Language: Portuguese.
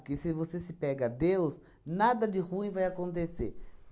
Porque se você se pega a Deus, nada de ruim vai acontecer.